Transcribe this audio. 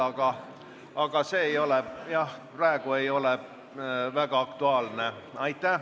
Aga see teema ei ole praegu väga aktuaalne.